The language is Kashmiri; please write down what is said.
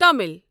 تامِل